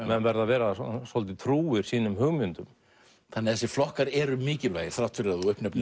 menn verða að vera svolítið trúir sínum hugmyndum þannig að þessir flokkar eru mikilvægir þrátt fyrir að þú uppnefnir